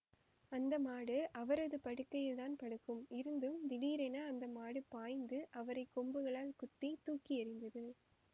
அந்த மாடு அவரது படுக்கையில் தான் படுக்கும் இருந்தும் திடீரென அந்த மாடு பாய்ந்து அவரை கொம்புகளால் குத்தி தூக்கி எறிந்தது